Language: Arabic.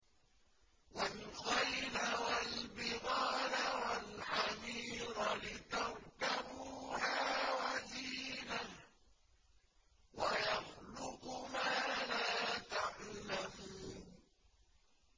وَالْخَيْلَ وَالْبِغَالَ وَالْحَمِيرَ لِتَرْكَبُوهَا وَزِينَةً ۚ وَيَخْلُقُ مَا لَا تَعْلَمُونَ